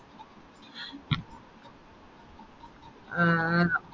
ആഹ്